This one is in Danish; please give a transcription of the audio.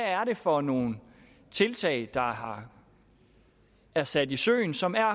er det for nogle tiltag der er sat i søen som er